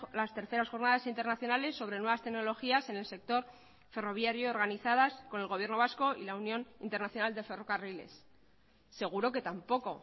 las terceras jornadas internacionales sobre nuevas tecnologías en el sector ferroviario organizadas con el gobierno vasco y la unión internacional de ferrocarriles seguro que tampoco